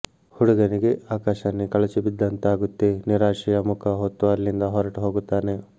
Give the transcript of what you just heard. ಹುಡುಗನಿಗೆ ಆಕಾಶಾನೆ ಕಳಚಿ ಬಿದ್ದಂತಾಗುತ್ತೆ ನಿರಾಶೆಯ ಮುಖ ಹೊತ್ತು ಅಲ್ಲಿಂದ ಹೊರಟು ಹೋಗುತ್ತಾನೆ